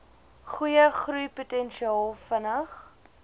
goeie groeipotensiaal vinnig